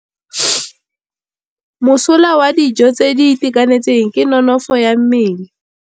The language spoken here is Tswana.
Mosola wa dijô tse di itekanetseng ke nonôfô ya mmele.